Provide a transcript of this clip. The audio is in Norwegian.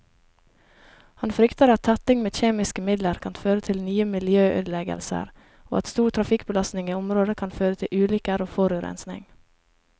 Han frykter at tetting med kjemiske midler kan føre til nye miljøødeleggelser, og at stor trafikkbelastning i området kan føre til ulykker og forurensning.